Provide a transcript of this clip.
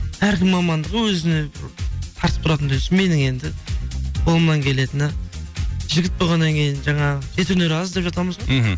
әркімнің мамандығы өзіне тартып тұратындай менің енді қолымнан келетіні жігіт болғаннан кейін жаңағы жеті өнер аз деп жатамыз ғой мхм